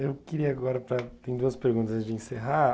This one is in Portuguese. Eu queria agora para, tem duas perguntas antes de encerrar.